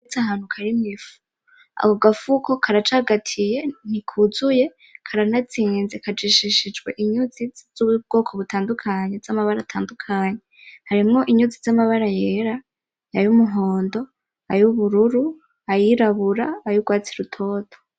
Ahantu harimwo ifu , ako gafuko karacagatiye ntikuzuye karanazinze kajishishijwe inyuzi z'ubwoko butandukanye, z'amabara atandukanye , harimwo inyuzi z'amabara yera ,ay'ubururu , ay'umuhondo , ay'irabura , ay'urwatsi rutoto.